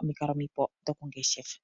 omikalo omipe dhoku ngeshefa.